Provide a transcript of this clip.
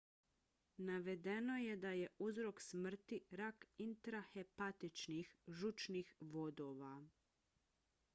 navedeno je da je uzrok smrti rak intrahepatičkih žučnih vodova